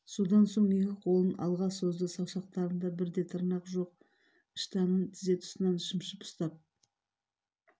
содан соң екі қолын алға созды саусақтарында бір де тырнақ жоқ іштанын тізе тұсынан шымшып ұстап